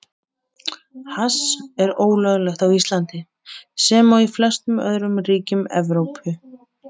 Hass er ólöglegt á Íslandi, sem og í flestum öðrum ríkjum Evrópu.